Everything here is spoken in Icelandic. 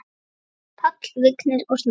Páll, Vignir og Snorri.